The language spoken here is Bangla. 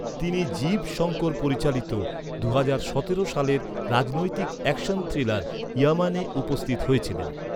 তিনি জীব শঙ্কর পরিচালিত দুহাজার সতেরো সালের রাজনৈতিক অ্যাকশন থ্রিলার ইয়ামানে উপস্থিত হয়েছিলেন।